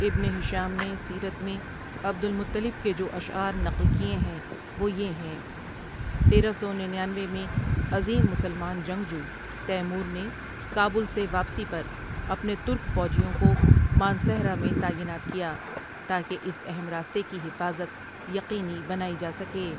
ابن ہشام نے سیرت میں عبد المطلب کے جو اشعار نقل کیے ہیں وہ یہ ہیں تیرہ سو ننیانوے میں، عظیم مسلمان جنگجو تیمور نے کابل سے واپسی پر اپنے ترک فوجیوں کو مانسہرہ میں تعینات کیا تا کہ اس اہم راستے کی حفاظت یقینی بنائی جا سکے۔